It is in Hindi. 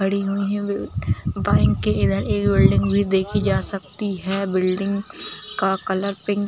खड़ी हुई है बैंक के इधर भी एक बिल्डिंग देखी जा सकती है बिल्डिंग का कलर पिंक --